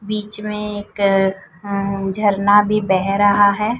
बीच में एक अं झरना भी बह रहा है।